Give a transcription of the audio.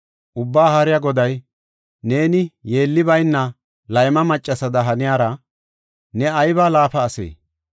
Ubbaa Haariya Goday, “Neeni yeelli bayna layma maccasada haniyara, ne aybi laafa ase!